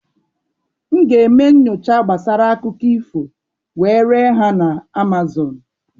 M ga-eme nyocha gbasara akụkọ ifo wee ree ha na Amazon.